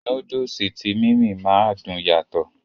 Núdùùsì tí "Mimie" ma dùn yàtọ̀.